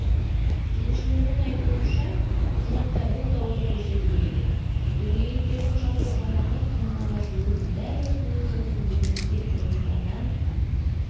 кеденшілердің айтуынша құжатта бұл тауар көрсетілмеген дөңгелектердің жалпы салмағы тоннаға жуық дәл осындай жолмен елімізге қырғызстаннан